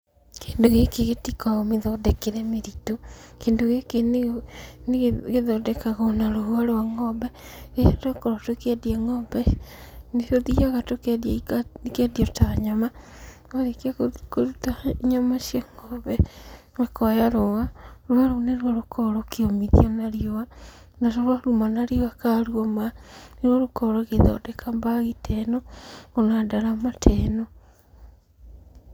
Kĩndũ gĩkĩ gĩtikoo mĩthondekere mĩritũ, kĩndũ gĩkĩ nĩ gĩthondekagwo na rũa rwa ng'ombe. Rĩrĩa twakorwo tũkĩendia ng'ombe, nĩtũthiaga tũkendia ĩkiendio ta nyama, twarĩkia gũthiĩ kũruta nyama cia ng'ombe tũkooya rũa, rũa rũũ nĩruo rũkoragwo rũkĩũmithio na riũa, na rũa ruoma na riũa ka ruoma, nĩruo rũkoo rũgĩthondeka mbagi ta ĩno ona ndarama ta ĩno.